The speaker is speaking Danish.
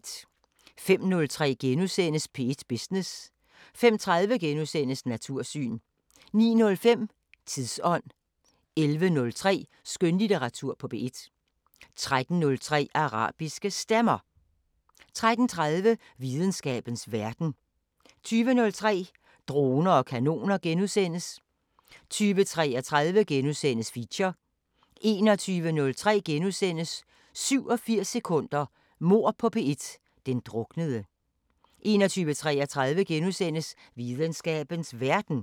05:03: P1 Business * 05:30: Natursyn * 09:05: Tidsånd 11:03: Skønlitteratur på P1 13:03: Arabiske Stemmer 13:30: Videnskabens Verden 20:03: Droner og kanoner * 20:33: Feature * 21:03: 87 sekunder – Mord på P1: Den druknede * 21:33: Videnskabens Verden *